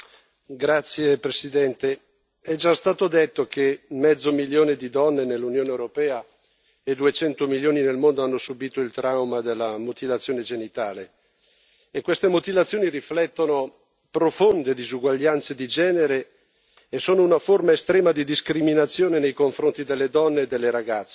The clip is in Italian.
Signora Presidente, onorevoli colleghi, è già stato detto che mezzo milione di donne nell'Unione europea e 200 milioni nel mondo hanno subito il trauma della mutilazione genitale. Queste mutilazioni riflettono profonde disuguaglianze di genere e sono una forma estrema di discriminazione nei confronti delle donne e delle ragazze.